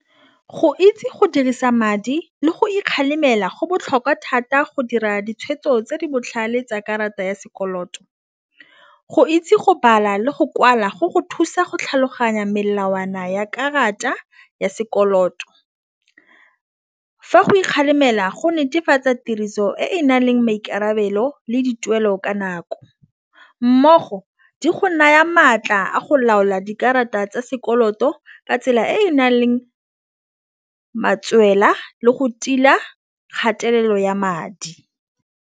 Go itse go dirisa madi le go ikgalemela go botlhokwa thata go dira ditshwetso tse di botlhale tsa karata ya sekoloto. Go itse go bala le go kwala go go thusa go tlhaloganya melawana ya karata ya sekoloto. Fa go ikgalemela go netefatsa tiriso e nang le maikarabelo le dituelo ka nako mmogo di go naya maatla a go laola dikarata tsa sekoloto ka tsela e nang leng matswela le go tila kgatelelo ya madi.